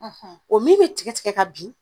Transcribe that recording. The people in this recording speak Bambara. o min be tigɛ-tigɛ ka bin